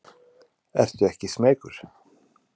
En ertu ekki smeykur?